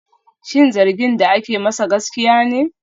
Shin zargin da ake masa gaskiya ne?